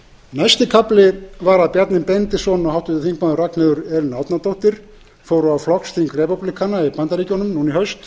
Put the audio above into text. næsti kafli var að bjarni benediktsson og háttvirtur þingmaður ragnheiður elín árnadóttir fóru á flokksþing repúblikana í bandaríkjunum í haust